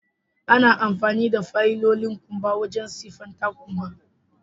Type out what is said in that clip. Ana amfani da fayilolin kumba wajen siffatan kumba.